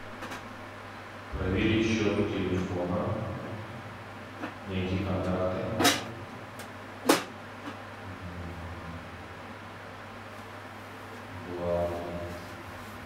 проверить счет телефона найти контакты влад